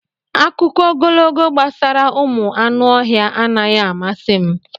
Akụkọ ogologo gbasara ụmụ anụ ọhịa anaghị amasị m.